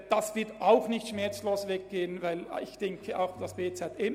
Das würde auch nicht schmerzlos ablaufen.